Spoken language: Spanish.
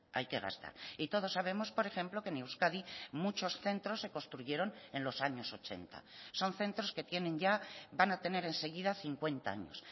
hay que gastar y todos sabemos por ejemplo que en euskadi muchos centros se construyeron en los años ochenta son centros que tienen ya van a tener enseguida cincuenta años